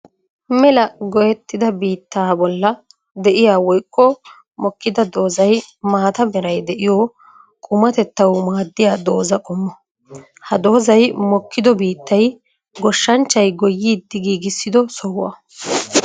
Mela goyettida biittaa bolla de'iya woykko mokkida doozay maata meray de'iyo qummatettawu maadiya dooza qommo. Ha doozay mokkido biittay goshshanchchay goyiddi giigissido sohuwa.